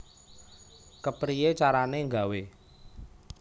Kepriye carane gawe